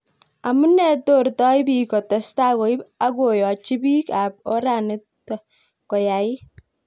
Amunei tortoi piik kotestai koip ak koyachi piik ap oranit koyait